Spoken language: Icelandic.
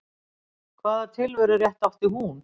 Hvaða tilverurétt átti hún?